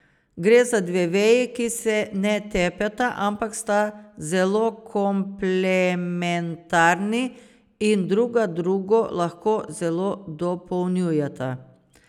Gre za dve veji, ki se ne tepeta, ampak sta zelo komplementarni in druga drugo lahko zelo dopolnjujeta.